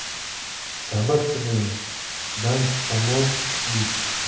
Sabr qilib, qishdan omon chiqdik.